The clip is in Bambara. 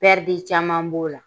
caman b'o la.